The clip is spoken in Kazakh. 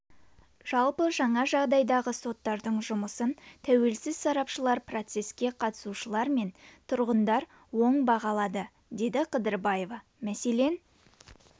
жалпы жаңа жағдайдағы соттардың жұмысын тәуелсіз сарапшылар процеске қатысушылар мен тұрғындар оң бағалады деді қыдырбаева мәселен